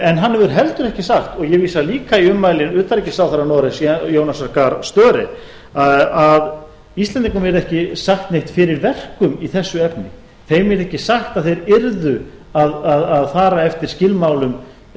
en hann hefur heldur ekki sagt og ég vísa líka í ummæli utanríkisráðherra noregs jonasar að störe að íslendingum yrði ekki sagt neitt fyrir verkum í þessu efni þeim yrði ekki sagt að þeir yrðu að fara eftir skilmálum